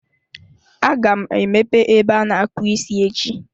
Aga m emepe ebe ana-akpụ isi echi.